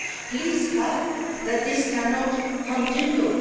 Please help, because this cannot continue.